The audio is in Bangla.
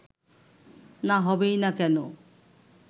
না হবেই বা কেন